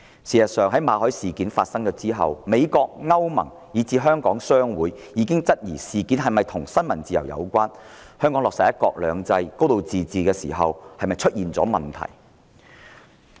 事實上，馬凱事件發生後，美國、歐盟，以至香港商會已質疑事件是否與新聞自由有關，以及香港在落實"一國兩制"及"高度自治"時是否出現問題。